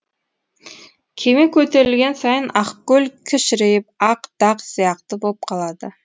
кеме көтерілген сайын ақкөл кішірейіп ақ дақ сияқты боп қалады